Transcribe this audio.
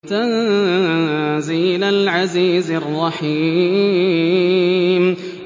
تَنزِيلَ الْعَزِيزِ الرَّحِيمِ